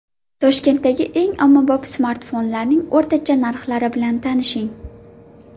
Toshkentdagi eng ommabop smartfonlarning o‘rtacha narxlari bilan tanishing.